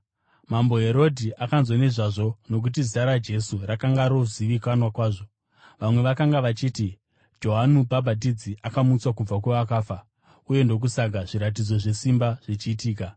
Mambo Herodhi akanzwa nezvazvo, nokuti zita raJesu rakanga rozivikanwa kwazvo. Vamwe vakanga vachiti, “Johani Mubhabhatidzi akamutswa kubva kuvakafa; uye ndokusaka zviratidzo zvesimba zvichiitika.”